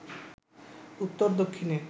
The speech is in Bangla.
উত্তর দক্ষিণে